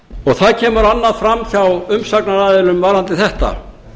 það kemur annað fram hjá umsagnaraðilum varðandi þetta